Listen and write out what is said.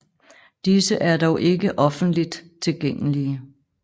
Disse er dog ikke offentligt tilgængelige